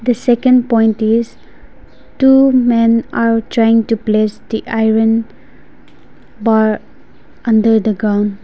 the second point is two men are trying to place the iron bar under the ground.